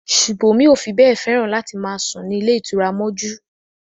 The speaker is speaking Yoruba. Ṣùbòmí ò fi bẹ́ẹ̀ fẹ́ràn láti máa sùn ní ilé ìtura mọ́jú